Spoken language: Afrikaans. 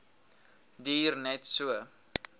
duur net so